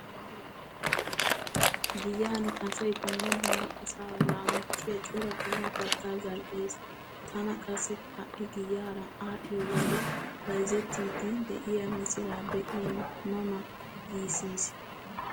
Giyan asay dumma dumma asaa laamottiya cora qommo kattaa zal"ees. Tana qassi ha"i giyaara aadhdhiyo wode bayzettiiddi diya misiraa be'in ma ma giissis.